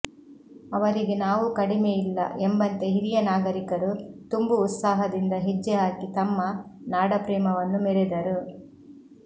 ಅವರಿಗೆ ನಾವೂ ಕಡಿಮೆ ಇಲ್ಲ ಎಂಬಂತೆ ಹಿರಿಯ ನಾಗರಿಕರು ತುಂಬು ಉತ್ಸಾಹದಿಂದ ಹೆಜ್ಜೆ ಹಾಕಿ ತಮ್ಮ ನಾಡಪ್ರೇಮವನ್ನು ಮೆರೆದರು